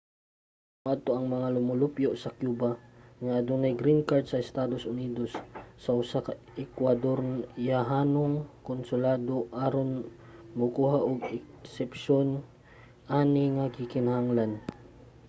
dapat moadto ang mga lumulupyo sa cuba nga adunay green card sa estados unidos sa usa ka ekwadoryahanong konsulado aron mokuha og eksepsiyon ani nga gikinahanglan